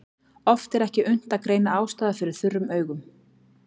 Oft er ekki unnt að greina ástæður fyrir þurrum augum.